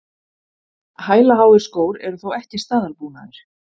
Hælaháir skór eru þó ekki staðalbúnaður